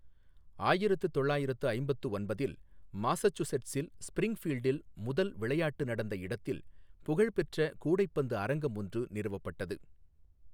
ஆயிரத்து தொள்ளாயிரத்து ஐம்பத்து ஒன்பதில் மாசசூசெட்ஸில், ஸ்பிரிங்ஃபீல்டில் முதல் விளையாட்டு நடந்த இடத்தில் புகழ் பெற்ற கூடைப்பந்து அரங்கம் ஒன்று நிறுவப்பட்டது.